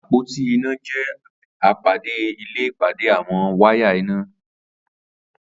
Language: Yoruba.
Apótí iná jẹ̀ ápádé ilé ipàdé awọn wàyá iná